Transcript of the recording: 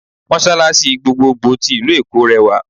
Mọ́sàlàṣí gbogboògbò tí ìlú-Èkó rẹwà